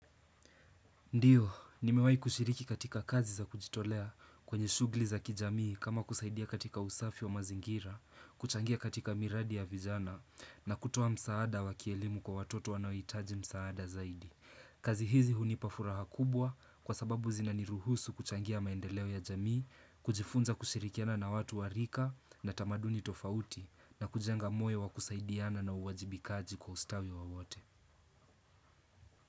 Ndiyo, nimewai kushiriki katika kazi za kujitolea kwenye shugli za kijamii kama kusaidia katika usafi wa mazingira, kuchangia katika miradi ya vijana na kutoa msaada wa kielimu kwa watoto wanaohitaji msaada zaidi. Kazi hizi hunipafuraha kubwa kwa sababu zinaniruhusu kuchangia maendeleo ya jamii, kujifunza kushirikiana na watu warika na tamaduni tofauti na kujenga moyo wa kusaidiana na uwajibikaji kwa ustawi wa wote.